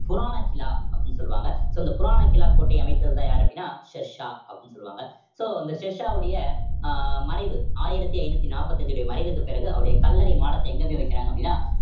புராணா கிலா அப்படின்னு சொல்லுவாங்க சொல்லுவாங்க so இந்த புராணா கிலா கோட்டை அமைத்ததுதான் யாரு அப்படின்னா ஷெர்ஷா அப்படின்னு சொல்லுவாங்க so இந்த ஷெர்ஷா உடைய அஹ் மறைவு ஆயிரத்தி ஐந்நூத்தி நாற்பத்தி அஞ்சினுடைய மறைவுக்கு பிறகு அவருடைய கல்லறை மாடத்தை எங்க போய் வைக்கிறாங்க அப்படின்னா